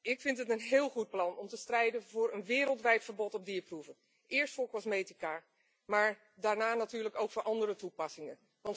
Ik vind het een heel goed plan om te strijden voor een wereldwijd verbod op dierproeven, eerst voor cosmetica, maar daarna natuurlijk ook voor andere toepassingen.